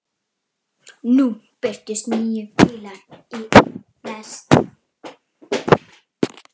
Nú birtust níu bílar í einni lest.